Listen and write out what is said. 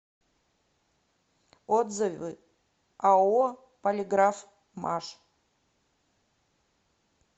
отзывы ао полиграфмаш